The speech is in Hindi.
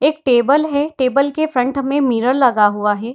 एक टेबल है टेबल के फ्रंट में मिरर लगा हुआ हे।